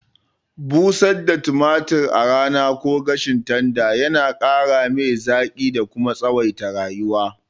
Busar da tumatir a rana ko gashin tanda yana ƙaramai zaƙi da kuma tsawaita rayuwa.